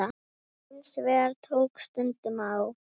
Hins vegar tók stundum á.